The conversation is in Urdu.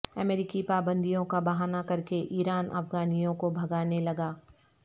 امریکی پابندیوں کا بہانہ کرکے ایران افغانیوں کو بھگانے لگا